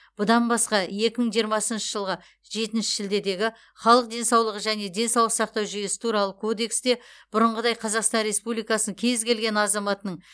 бұдан басқа екі мың жиырмасыншы жылғы жетінші шілдедегі халық денсаулығы және денсаулық сақтау жүйесі туралы кодексте бұрынғыдай қазақстан республикасы кез келген азаматының